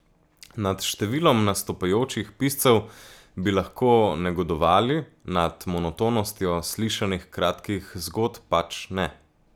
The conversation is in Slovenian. Nad številom nastopajočih piscev bi lahko negodovali, nad monotonostjo slišanih kratkih zgodb pač ne.